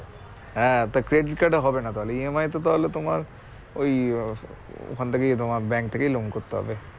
হ্যাঁ তো credit card এ হবে না তাহলে E. M. I. তো তাহলে তোমার ওই আহ ওখান থেকেই তোমার bank থেকেই loan করতে হবে